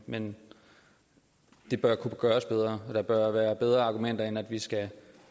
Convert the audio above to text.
men det bør kunne gøres bedre der bør være bedre argumenter end at vi skal